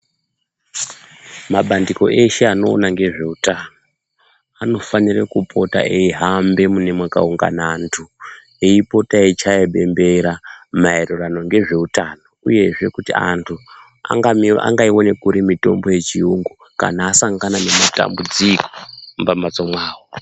Mabandiko eshe anoona ngezveutano anofanire kupota eihambe mune makaungana antu uyezve eipota eichaye bombers mayererano ngezveutano uyezve kuti antu angaiwone kupi mitombo yechirungu kana asangana nematambudziko mumambatso mawo .